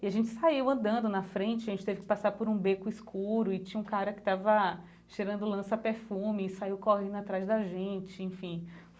E a gente saiu andando na frente, a gente teve que passar por um beco escuro e tinha um cara que estava cheirando lança perfume e saiu correndo atrás da gente, enfim.